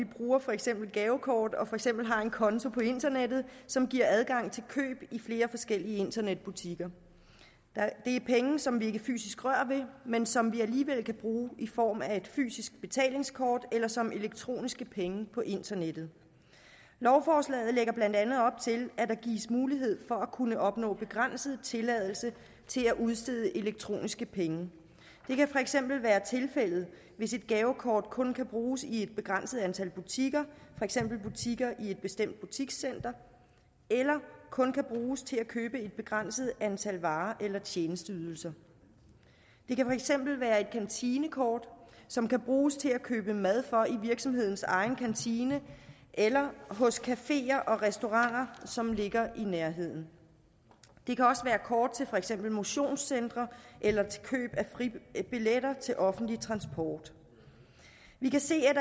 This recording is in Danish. for eksempel bruger gavekort og for eksempel har en konto på internettet som giver adgang til køb i flere forskellige internetbutikker det er penge som vi ikke fysisk rører ved men som vi alligevel kan bruge i form af et fysisk betalingskort eller som elektroniske penge på internettet lovforslaget lægger blandt andet op til at der gives mulighed for at kunne opnå begrænset tilladelse til at udstede elektroniske penge det kan for eksempel være tilfældet hvis et gavekort kun kan bruges i et begrænset antal butikker for eksempel butikker i et bestemt butikscenter eller kun kan bruges til at købe et begrænset antal varer eller tjenesteydelser det kan for eksempel være et kantinekort som kan bruges til at købe mad for i en virksomheds egen kantine eller hos cafeer og restauranter som ligger i nærheden det kan også være kort til for eksempel motionscentre eller til køb af billetter til offentlig transport vi kan se at